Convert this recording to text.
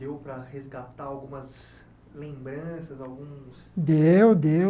Deu para resgatar algumas lembranças, alguns... Deu, deu.